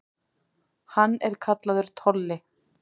Hann er kallaður Tolli.